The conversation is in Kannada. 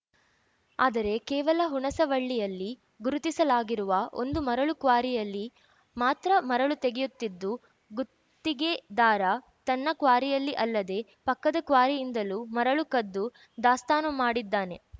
ಆದರೆ ಕೇವಲ ಹುಣಸವಳ್ಳಿಯಲ್ಲಿ ಗುರುತಿಸಲಾಗಿರುವ ಒಂದು ಮರಳು ಕ್ವಾರಿಯಲ್ಲಿ ಮಾತ್ರ ಮರಳು ತೆಗೆಯುತ್ತಿದ್ದು ಗುತ್ತಿಗೆದಾರ ತನ್ನ ಕ್ವಾರಿಯಲ್ಲಿ ಅಲ್ಲದೆ ಪಕ್ಕದ ಕ್ವಾರಿಯಿಂದಲೂ ಮರಳು ಕದ್ದು ದಾಸ್ತಾನು ಮಾಡಿದ್ದಾನೆ